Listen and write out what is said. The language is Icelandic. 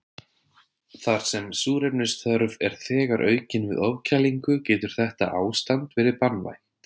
Þar sem súrefnisþörf er þegar aukin við ofkælingu getur þetta ástand verið banvænt.